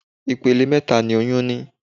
Ipele mẹta ni oyún ní.